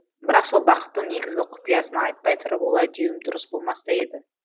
бірақ сол бақыттың негізгі құпиясын айтпай тұрып олай деуім дұрыс болмас та еді